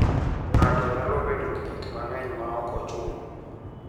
Ng'ato nyalo bedo gi gik mang'eny maok ochuno.